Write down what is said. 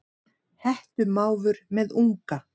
Hettumávur með unga.